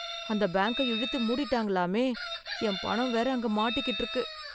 அந்த பேங்க இழுத்து மூடிட்டாங்களாமே? என் பணம் வேற அங்க மாட்டிகிட்டு இருக்கு